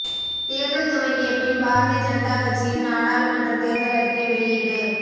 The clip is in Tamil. தேர்தல் துவங்கிய பின் பாரதிய ஜனதா கட்சியின் நாடாளுமன்ற தேர்தல் அறிக்கை வெளியீடு